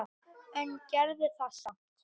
En gerði það samt.